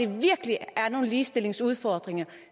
virkelig er nogle ligestillingsudfordringer